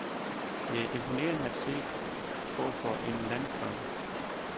Det er imponerende at se på for en landkrabbe.